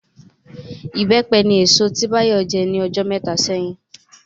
Ìbẹ́pẹ ni èso tí Bayo jẹ ní ọjọ́ mẹ́ta sẹ́yìn